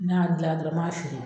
Ne y'a dilan dɔrɔn ma feere